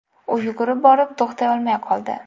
U yugurib borib, to‘xtay olmay qoldi.